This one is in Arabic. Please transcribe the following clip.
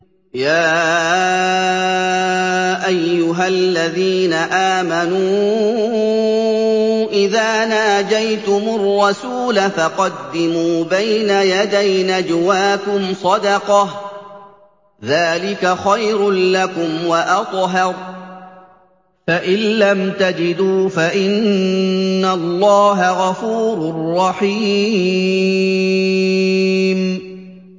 يَا أَيُّهَا الَّذِينَ آمَنُوا إِذَا نَاجَيْتُمُ الرَّسُولَ فَقَدِّمُوا بَيْنَ يَدَيْ نَجْوَاكُمْ صَدَقَةً ۚ ذَٰلِكَ خَيْرٌ لَّكُمْ وَأَطْهَرُ ۚ فَإِن لَّمْ تَجِدُوا فَإِنَّ اللَّهَ غَفُورٌ رَّحِيمٌ